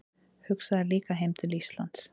Hugsaði líka heim til Íslands.